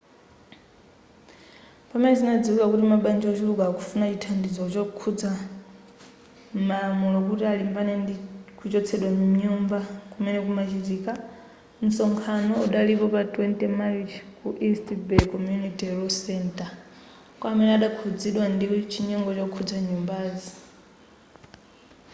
pamene zinadziwika kuti mabanja wochuluka akufuna chithandizo chokhudza malamulo kuti alimbane ndi kuchotsedwa mnyumba kumene kunachitika msonkhano udalipo pa 20 marichi ku east bay community law center kwa amene adakhuzidwa ndi chinyengo chokhudza nyumbazi